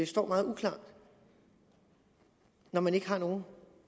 står meget uklart når man ikke har nogen